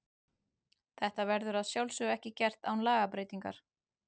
Þetta verður að sjálfsögðu ekki gert án lagabreytingar.